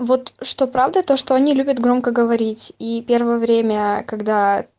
вот что правда то что они любят громко говорить и первое время аа когда